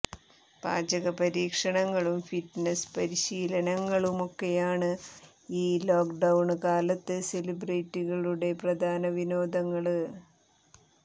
പാചകപരീക്ഷണങ്ങളും fitness പരിശീലനങ്ങളുമൊക്കെയാണ് ഈ lockdown കാലത്ത് സെലിബ്രിറ്റികളുടെ പ്രധാന വിനോദങ്ങള്